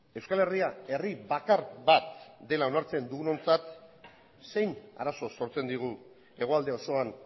euskal herria herri bakar bat dela onartzen dugunontzat zein arazo sortzen digu hegoalde osoan